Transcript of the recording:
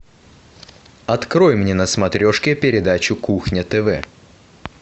открой мне на смотрешке передачу кухня тв